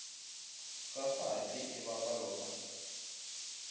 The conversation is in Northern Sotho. ka kgati e bapalwa ka